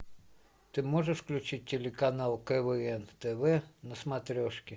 ты можешь включить телеканал квн тв на смотрешке